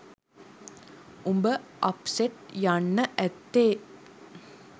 උඹ අප්සට් යන්න ඇත්තේ